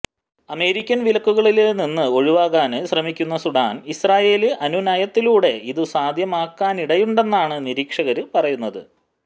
American വിലക്കുകള് നിന്ന് ഒഴിവാകാന് ശ്രമിക്കുന്ന സുഡാന് ഇസ്രഈല് അനുനയത്തിലൂടെ ഇതു സാധ്യമാക്കാനിടയുണ്ടെന്നാണ് നിരീക്ഷകര് പറയുന്നത്